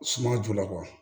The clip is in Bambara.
Suma joona